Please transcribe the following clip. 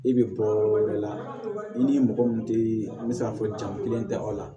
I bɛ bɔ yɔrɔ wɛrɛ la i ni mɔgɔ min tɛ an bɛ se k'a fɔ jaa kelen tɛ o la